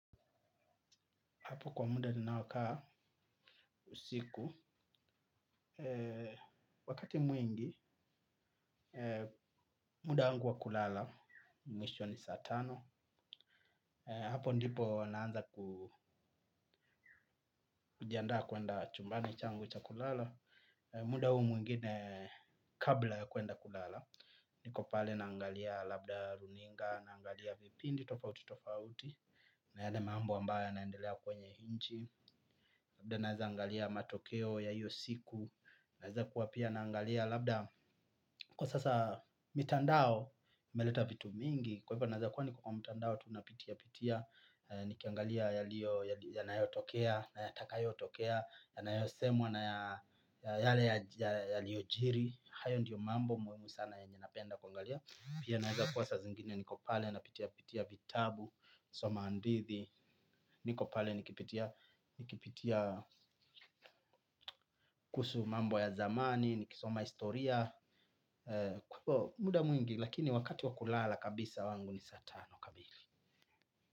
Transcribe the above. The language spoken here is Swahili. Hapo kwa muda ninaokaa usiku, wakati mwingi, muda wangu wa kulala, mwisho ni saa tano. Hapo ndipo naanza kujiandaa kwenda chumbani changu cha kulala. Muda huu mwingine kabla ya kwenda kulala. Niko pale naangalia labda runinga, naangalia vipindi tofauti tofauti, na yale mambo ambayo yanaendelea kwenye inchi. Labda naeza angalia matokeo ya iyo siku. Naeza kuwa pia naangalia. Labda kwa sasa mitandao imeleta vitu mingi. Kwa hivyo naeza kuwa niko kwa mitandao tu napitia-pitia. Nikiangalia yanayotokea na yatakayotokea yanayosemwa na yale yaliojiri hayo ndio mambo muhimu sana yenye napenda kuangalia. Pia naeza kuwa saa zingine niko pale napitia-pitia vitabu nasoma hadithi, niko pale nikipitia kuhusu mambo ya zamani, nikisoma historia, muda mwingi, lakini wakati wa kulala kabisa wangu ni saa tano kamili.